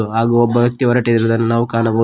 ಹಾಗು ಒಬ್ಬ ವ್ಯಕ್ತಿ ಹೊರಟಿರುವುದನ್ನು ನಾವು ಕಾಣಬಹು--